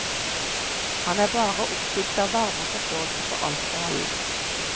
Han er bare oppfylt av varme og forståelse for alt og alle.